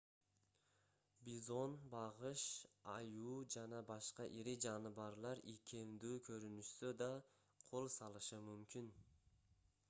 бизон багыш аюу жана башка ири жаныбарлар ийкемдүү көрүнүшсө да кол салышы мүмкүн